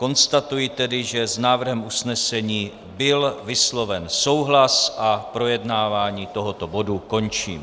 Konstatuji tedy, že s návrhem usnesení byl vysloven souhlas, a projednávání tohoto bodu končím.